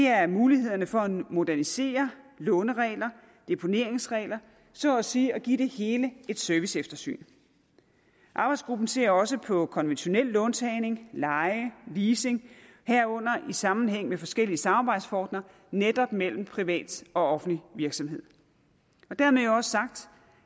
er mulighederne for at modernisere låneregler og deponeringsregler så at sige at give det hele et serviceeftersyn arbejdsgruppen ser også på konventionel låntagning leje og leasing herunder i sammenhæng med forskellige samarbejdsformer netop mellem private og offentlige virksomheder dermed også sagt